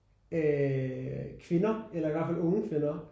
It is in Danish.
Øh kvinder eller i hvert fald unge kvinder